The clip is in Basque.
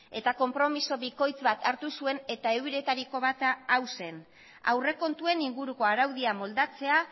eta konpromiso bikoitz bat hartu zuen eta euretariko bata hau zen aurrekontuen inguruko araudia moldatzea